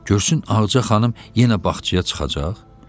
Görsün Ağaca xanım yenə bağçaya çıxacaq?